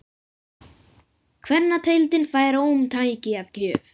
Kvennadeildin fær ómtæki að gjöf